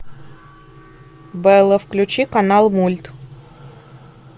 белла включи канал мульт